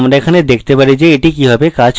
তাই আমরা দেখতে পারি যে এটি কিভাবে কাজ করে